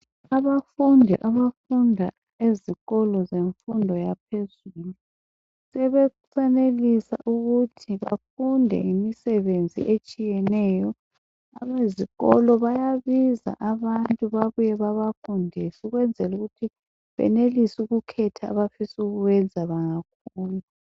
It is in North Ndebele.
Abafundi abafunda ezikolo zemfundo yaphezulu sebesenelisa ukuthi bafunde ngemisebenzi etshiyeneyo. Abezikolo bayabiza abantu babafundise ukwenzela ukuthi benelise ukukhetha abafisa ukukwenza bengakhula